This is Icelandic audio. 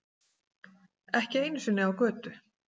Ekki einu sinni á götu.